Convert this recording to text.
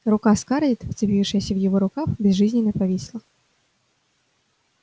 рука скарлетт вцепившаяся в его рукав безжизненно повисла